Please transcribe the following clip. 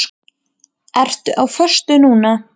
Ertu á föstu núna?